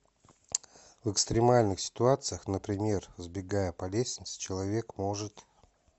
в экстремальных ситуациях например взбегая по лестнице человек может